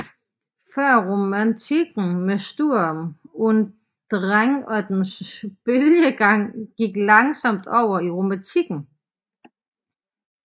Førromantikken med Sturm und Drang og dens bølgegang gik langsomt over i romantikken